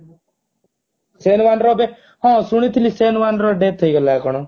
ସେନୱାନ ର ଏବେ ହଁ ଶୁଣିଥିଲି ସେନୱାନ ର death ହେଇଗଲା କଣ